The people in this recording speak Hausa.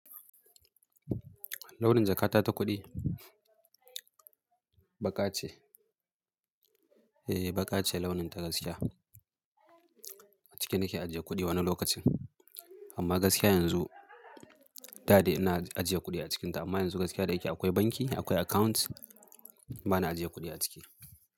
Launin jakata ta kuɗi baƙa ce. Eh, baƙa ce launin ta gaskiya. A ciki nake ajiye kuɗi wani lokacin. Amma gaskiya yanzu, dade ina ajiye kuɗi a cikinta amma yanzu gaskiya da yake akwai banki, akwai account bana ajiye kuɗi a ciki.